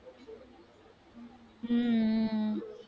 உம் உம் உம்